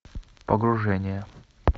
погружение